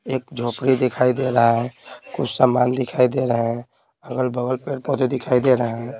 एक झोपड़ी दिखाई दे रहा है कुछ सामान दिखाई दे रहे हैं अगल-बगल पेड़-पौधे दिखाई दे रहे हैं।